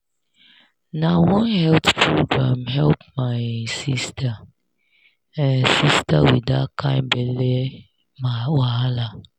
na one health program help my sister um sister with that kind belle wahala.